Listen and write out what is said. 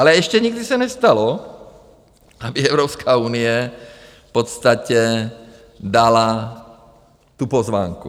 Ale ještě nikdy se nestalo, aby Evropská unie v podstatě dala tu pozvánku.